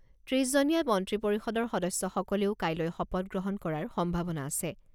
ত্ৰিছ জনীয়া মন্ত্ৰী পৰিষদৰ সদস্যসকলেও কাইলৈ শপতগ্ৰহণ কৰাৰ সম্ভাৱনা আছে।